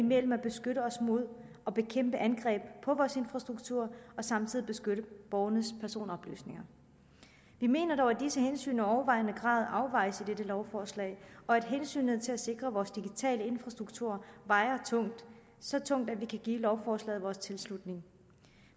mellem at beskytte os mod og bekæmpe angreb på vores infrastruktur og samtidig beskytte borgernes personoplysninger vi mener dog at disse hensyn i overvejende grad afvejes i dette lovforslag og at hensynet til at sikre vores digitale infrastrukturer vejer tungt så tungt at vi kan give lovforslaget vores tilslutning